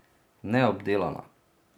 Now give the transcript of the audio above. Neobdelana.